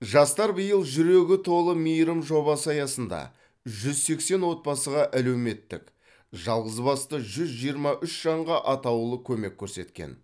жастар биыл жүрегі толы мейірім жобасы аясында жүз сексен отбасыға әлеуметтік жалғызбасты жүз жиырма үш жанға атаулы көмек көрсеткен